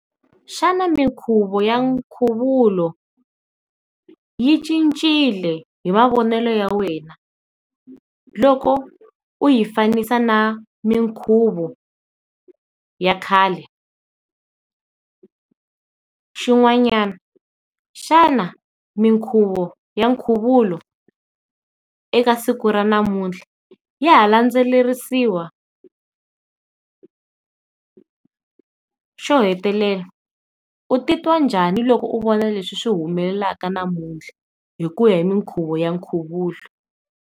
Xana minkhuvo ya nkhuvulo yi cincile hi mavonelo ya wena loko u yi fanisa na minkhuvo ya khale xin'wanyana? Xana minkhuvo ya nkhuvulo eka siku ra namuntlha ya ha landzelerisiwa? Xo hetelela u ti twa njhani loko u vona leswi humelelaka namutlha hi ku ya hi minkhuvo ya nkhuvulo?